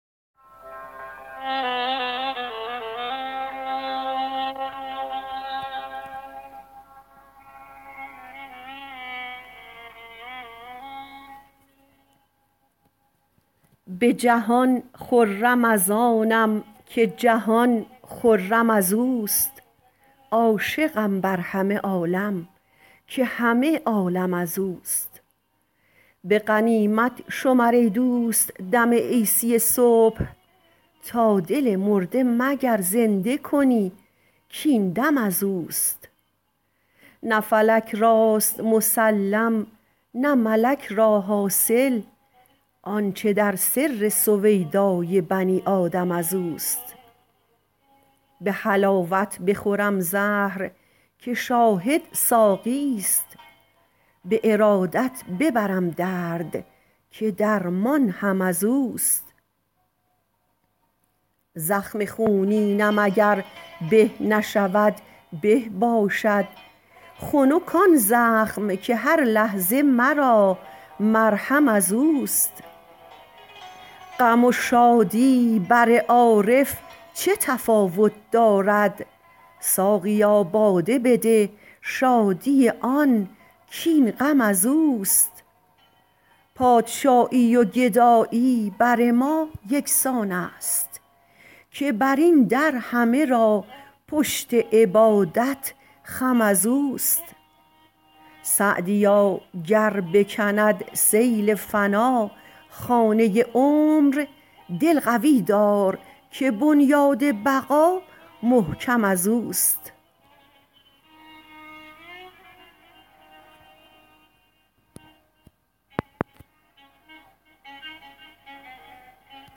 به جهان خرم از آنم که جهان خرم از اوست عاشقم بر همه عالم که همه عالم از اوست به غنیمت شمر ای دوست دم عیسی صبح تا دل مرده مگر زنده کنی کاین دم از اوست نه فلک راست مسلم نه ملک را حاصل آنچه در سر سویدای بنی آدم از اوست به حلاوت بخورم زهر که شاهد ساقیست به ارادت ببرم درد که درمان هم از اوست زخم خونینم اگر به نشود به باشد خنک آن زخم که هر لحظه مرا مرهم از اوست غم و شادی بر عارف چه تفاوت دارد ساقیا باده بده شادی آن کاین غم از اوست پادشاهی و گدایی بر ما یکسان است که بر این در همه را پشت عبادت خم از اوست سعدیا گر بکند سیل فنا خانه عمر دل قوی دار که بنیاد بقا محکم از اوست